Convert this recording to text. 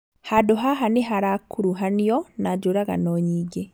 Handũ haha nĩharakuruhanio na njũragano nyingĩ